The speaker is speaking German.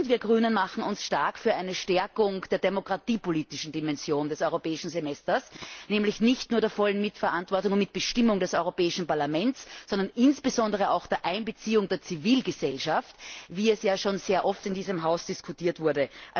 Wir Grünen machen uns stark für eine Stärkung der demokratiepolitischen Dimension des Europäischen Semesters, und zwar nicht nur für die volle Mitverantwortung und Mitbestimmung des Europäischen Parlaments, sondern insbesondere auch für die Einbeziehung der Zivilgesellschaft, wie es ja schon sehr oft in diesem Haus diskutiert wurde.